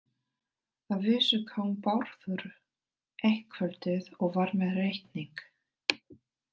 Að vísu kom Bárður eitt kvöldið og var með reikning.